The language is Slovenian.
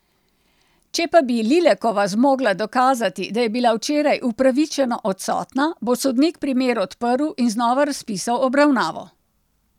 Če pa bi Lilekova zmogla dokazati, da je bila včeraj upravičeno odsotna, bo sodnik primer odprl in znova razpisal obravnavo.